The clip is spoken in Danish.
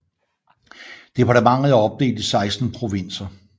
Departementet er opdelt i 16 provinser